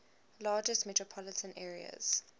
largest metropolitan areas